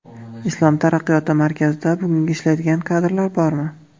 Islom taraqqiyoti markazida bugun ishlaydigan kadrlar bormi?!